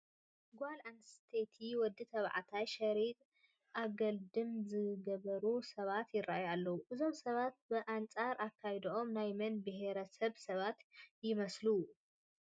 ጓል ኣነስተይትን ወዲ ተባዕታይን ሸሪጥ ኣገልድም ዝገበሩ ሰባት ይርአዩ ኣለዉ፡፡ እዞም ሰባት ብኣንፃር ኣከዳድንኦም ናይ መን ብሄረ ሰብ ሰባት ይመስሉ?